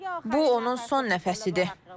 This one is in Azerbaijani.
Bu onun son nəfəsidir.